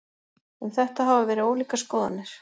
Um þetta hafa verið ólíkar skoðanir.